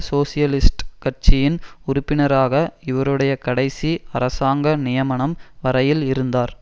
socialist கட்சியின் உறுப்பினராக இவருடைய கடைசி அரசாங்க நியமனம் வரையில் இருந்தார்